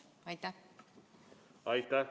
Aitäh!